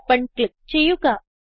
open click ചെയ്യുക